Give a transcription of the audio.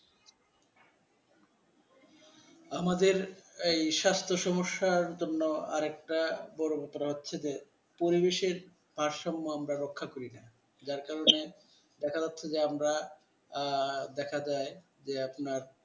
আমাদের এই স্বাস্থ্য সমস্যা জন্য আরেকটা বড় ব্যাপার হচ্ছে যে পরিবেশের ভারসাম্য আমরা রক্ষা করিনা যার কারণে দেখা যাচ্ছে যে আমরা আহ দেখা যায় আর যে আপনার